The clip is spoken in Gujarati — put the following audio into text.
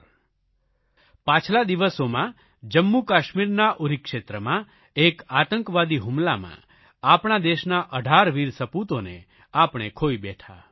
થોડા દિવસ પહેલા પાછલા દિવસોમાં જમ્મુકાશ્મીરના ઉરી ક્ષેત્રમાં એક આતંકવાદી હુમલામાં આપણા દેશના 18 વીર સપૂતોને આપણે ખોઇ બેઠા